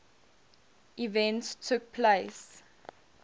events took place